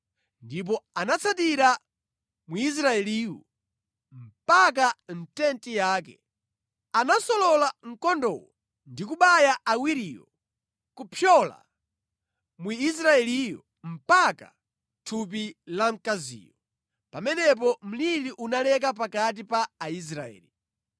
Ndipo anatsatira Mwisraeliyu mpaka mʼtenti yake. Anasolola mkondowo ndi kubaya awiriwo kupyola Mwisraeliyo mpaka mʼthupi la mkaziyo. Pamenepo mliri unaleka pakati pa Aisraeli.